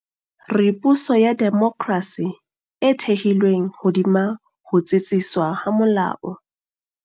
Re puso ya demokrasi e thehilweng hodima ho tsitsiswa ha molao.